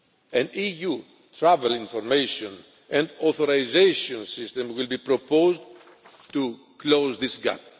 An EU travel information and authorisation system will be proposed to close this gap.